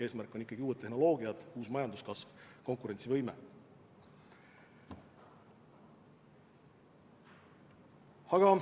Eesmärk on ikkagi uued tehnoloogiad, uus majanduskasv, konkurentsivõime.